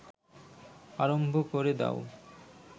আরম্ভ ক’রে দাও